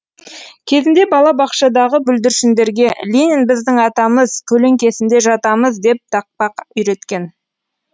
кезінде бала бақшадағы бүлдіршіндерге ленин біздің атамыз көлеңкесінде жатамыз деп тақпақ үйреткен